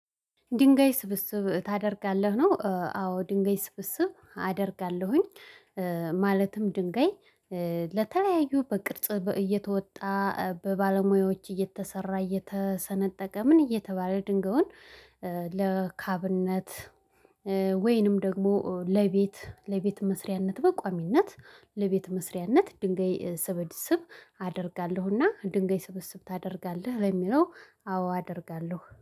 ድንጋይ ስብስብ ታደርጋለህ ነው? አዎ ድንጋይ ስብስብ አደርጋለሁኝ። ማለትም ድንጋይ ለተለያዩ በቅርጽ እየተወጣ በባለሙያዎች እየተሰራ እየተሰነጠቀ ምን እየተባለ ድንጋውን። ለካብነት ወይንም ደግሞ ለቤት ለቤት መስሪያነት በቋሚነት። ለቤት መስሪያነት ድንጋይ ስብስብ አደርጋለሁና ድንጋይ ስብስብ ታደርጋለህ ለሚለው አዎ አደርጋለሁ